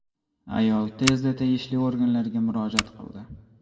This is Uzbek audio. Ayol tezda tegishli organlarga murojaat qildi.